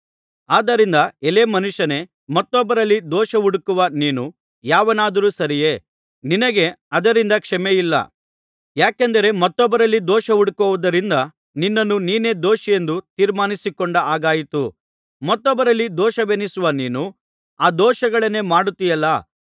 ಆದ್ದರಿಂದ ಎಲೈ ಮನುಷ್ಯನೇ ಮತ್ತೊಬ್ಬರಲ್ಲಿ ದೋಷ ಹುಡುಕುವ ನೀನು ಯಾವನಾದರೂ ಸರಿಯೇ ನಿನಗೆ ಅದರಿಂದ ಕ್ಷಮೆಯಿಲ್ಲ ಯಾಕೆಂದರೆ ಮತ್ತೊಬ್ಬರಲ್ಲಿ ದೋಷ ಹುಡುಕುವುದರಿಂದ ನಿನ್ನನ್ನು ನೀನೇ ದೋಷಿಯೆಂದು ತೀರ್ಪುಮಾಡಿಕೊಂಡ ಹಾಗಾಯಿತು ಮತ್ತೊಬ್ಬರಲ್ಲಿ ದೋಷವೆಣಿಸುವ ನೀನು ಆ ದೋಷಗಳನ್ನೇ ಮಾಡುತ್ತೀಯಲ್ಲಾ